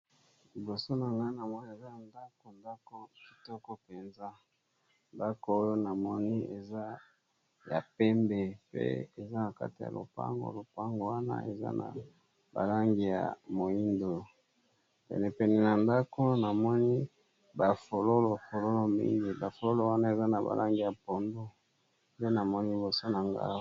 Liboso na nga namoni ndako ya kitoko penza eza ya pembe eza na porte ya lopango ya langi ya moyindo pene pene koza ba fololo mingi ya langi ya mayi ya pondu.